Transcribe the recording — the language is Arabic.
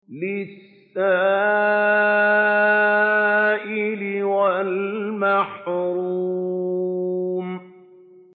لِّلسَّائِلِ وَالْمَحْرُومِ